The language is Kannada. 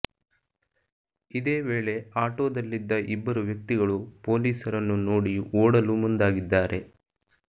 ಇದೇ ವೇಳೆ ಆಟೋದಲ್ಲಿದ್ದ ಇಬ್ಬರು ವ್ಯಕ್ತಿಗಳು ಪೊಲೀಸರನ್ನು ನೋಡಿ ಓಡಲು ಮುಂದಾಗಿದ್ದಾರೆ